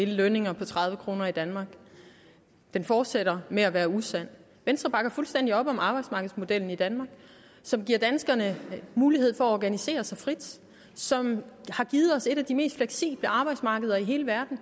lønninger på tredive kroner i danmark fortsætter med at være usandt venstre bakker fuldstændig op om arbejdsmarkedsmodellen i danmark som giver danskerne mulighed for at organisere sig frit og som har givet os et af de mest fleksible arbejdsmarkeder i hele verden